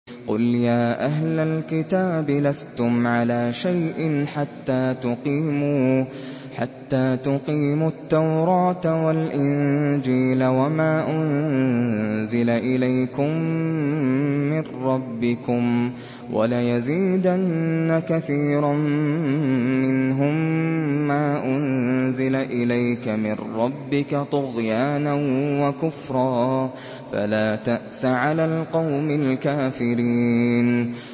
قُلْ يَا أَهْلَ الْكِتَابِ لَسْتُمْ عَلَىٰ شَيْءٍ حَتَّىٰ تُقِيمُوا التَّوْرَاةَ وَالْإِنجِيلَ وَمَا أُنزِلَ إِلَيْكُم مِّن رَّبِّكُمْ ۗ وَلَيَزِيدَنَّ كَثِيرًا مِّنْهُم مَّا أُنزِلَ إِلَيْكَ مِن رَّبِّكَ طُغْيَانًا وَكُفْرًا ۖ فَلَا تَأْسَ عَلَى الْقَوْمِ الْكَافِرِينَ